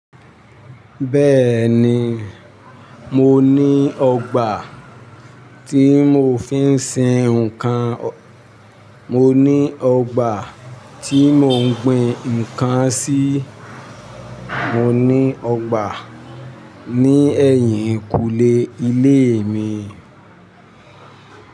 Bẹ́ẹ̀ni, mo ní ọgbà tí mò ń fi ń sin ǹkan. Mo ní ọgbà tí mò ń gbin ǹkan sí. Mọ ní ọgbà ní ẹ̀yìnkùlé ilé mi.